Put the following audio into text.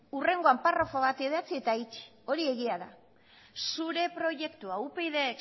hurrengoan paragrafo ba idatzi eta itxi hori egia da